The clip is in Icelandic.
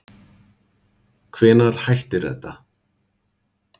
Hvenær hættir þetta